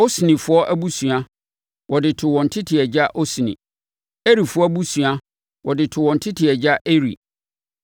Osnifoɔ abusua, wɔde too wɔn tete agya Osni. Erifoɔ abusua, wɔde too wɔn tete agya Eri;